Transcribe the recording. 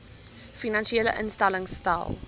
finansiële instellings stel